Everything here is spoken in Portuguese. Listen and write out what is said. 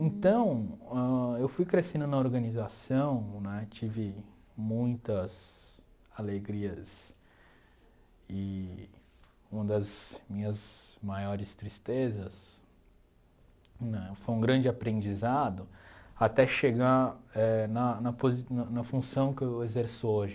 Então, ãh eu fui crescendo na organização né, tive muitas alegrias e uma das minhas maiores tristezas né foi um grande aprendizado até chegar eh na na posi na na função que eu exerço hoje.